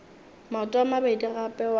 maoto a mabedi gape wa